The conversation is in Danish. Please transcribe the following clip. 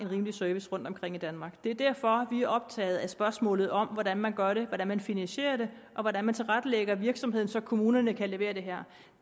en rimelig service rundtomkring i danmark det er derfor vi er optaget af spørgsmålet om hvordan man gør det hvordan man finansierer det og hvordan man tilrettelægger virksomheden så kommunerne kan levere det her